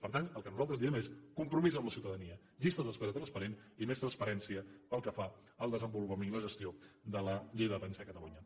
per tant el que nosaltres diem és compromís amb la ciutadania llista d’espera transparent i més transparència pel que fa al desenvolupament i la gestió de la llei de dependència a catalunya